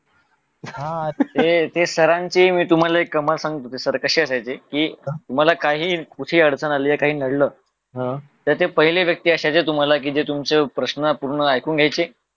हा हा ते सरांची तुम्हाला एक कमाल सर कसे असायचे की काही कुठे अडचण आली काही नडलं तर त्या पहिल्या व्यक्ती अशा की जे तुमचे प्रश्न पूर्ण ऐकून घ्यायचे